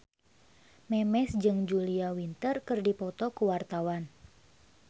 Memes jeung Julia Winter keur dipoto ku wartawan